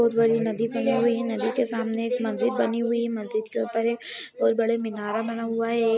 बहुत बड़ी नदी बनी हुई है नदी के सामने एक मस्जिद बनी हुई है मस्जिद के ऊपर एक बहुत बड़े मीनारे बना हुआ है।